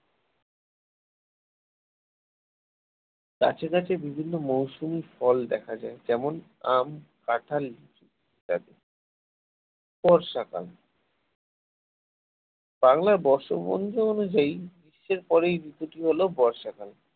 গাছে গাছে বিভিন্ন মৌসুমী ফল দেখা যায় যেমন আম কাঁঠাল লিচু বর্ষাকাল বাংলার বর্ষপঞ্জি অনুযায়ী গ্রীষ্মের পরের ঋতু টি হল বর্ষাকাল